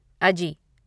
अजी